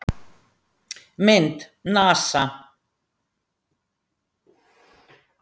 Mynd: NASA.